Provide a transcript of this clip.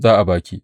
Za a ba ki.